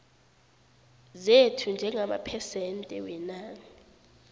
zethu njengamaphesente wenani